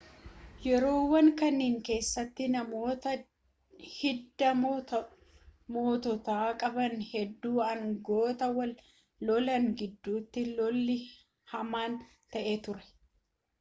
yeroowwan kanniin keessatti namoota hidda moototaa qaban hedduu aangoof wal lolan gidduutti lolli hamaan ta'ee ture